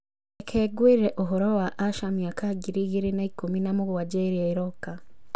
Reke ngwĩre ũhoro wa asha mĩaka ngiri igĩrĩ na ikũmi na mũgwanja ĩrĩa ĩroka.